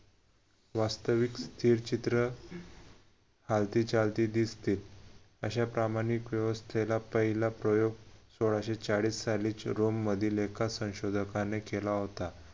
वास्तविक स्थिरचित्र हालती चालती दिसते अश्या प्रामाणिक व्यवस्थेला पहिला प्रयोग सोळाशे चाळीस साली चिरोम मधील एका संशोधकाने केला होता